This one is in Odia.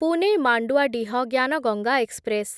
ପୁନେ ମାଣ୍ଡୁଆଡିହ ଜ୍ଞାନ ଗଙ୍ଗା ଏକ୍ସପ୍ରେସ୍